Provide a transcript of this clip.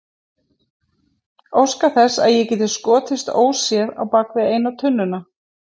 Óska þess að ég geti skotist óséð bak við eina tunnuna.